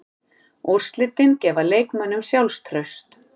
Úrslitin gefa leikmönnunum sjálfstraust.